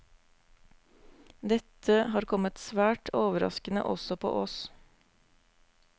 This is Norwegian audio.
Dette har kommet svært overraskende også på oss.